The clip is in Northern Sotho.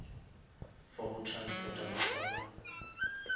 for go transporta baswa ba